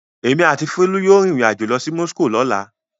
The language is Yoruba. Èmi àti Folú yóò rìnrìn-àjò lọ sí Moscow lọ́la.